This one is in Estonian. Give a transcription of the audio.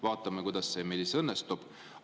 Vaatame, kuidas see meil siis õnnestub.